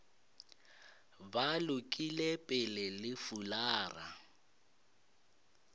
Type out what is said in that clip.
ba lokile pele le fulara